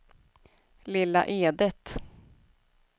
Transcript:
Lilla Edet